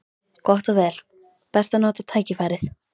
Gott og vel: best að nota tækifærið.